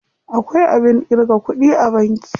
Akwai abin ƙirga kuɗi a banki.